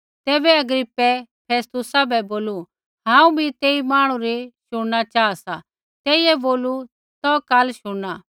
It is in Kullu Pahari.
तैबै अग्रिप्पै फेस्तुसा बै बोलू हांऊँ बी तेई मांहणु री शुण न चाहा सा तेइयै बोलू तौ काल शुणना